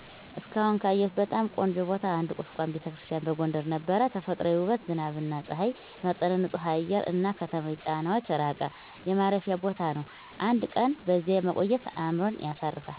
እስካሁን ካየሁት በጣም ቆንጆ ቦታ አንዱ ቁስቋም ⛪ቤተክርስቲያን በጎንደር ነበር። ተፈጥሯዊ ውበት፣ ዝናብና ፀሐይ የተመጣጠነ ንፁህ አየር፣ እና ከተማዊ ጫናዎች ራቀ የማረፊያ ቦታ ነው። አንድ ቀን በዚያ መቆየት አእምሮን ያሳርፋል።